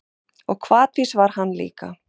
Og hvatvís var hann líka.